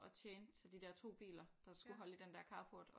At tjene til de der 2 biler der skulle holde i den der carport og